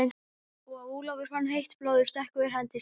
Ólafur fann heitt blóðið stökkva yfir hendi sína.